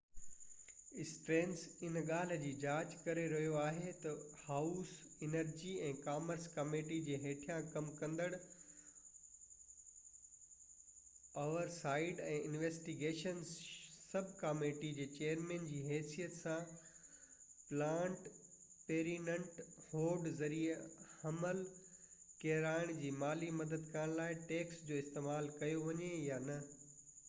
Stearns هن ڳالهہ جي جاچ ڪري رهيو آهي تہ هائوس انرجي ۽ ڪامرس ڪميٽي جي هيٺيان ڪم ڪندڙ oversight ۽ investigations sub committee جي چئيرمن جي حيثيت سان پلاننڊ پيرينٽ هوڊ ذريعي حمل ڪيرائڻ جي مالي مدد ڪرڻ لاءِ ٽيڪس جو استعمال ڪيو وڃي يا نہ